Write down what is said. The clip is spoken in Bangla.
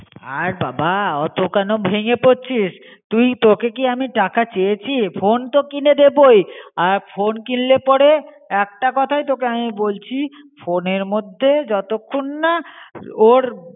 আর বাবা অতো কেন ভেঙে পড়ছিস. তুই তোকে কী আমি টাকা চেয়চি? ফোন তো কিনে দেবই. আর ফোন কিনলে পরে একটা কোথাই তোকে আমি বলছি. ফোনের মধে যতক্ষণনা ওর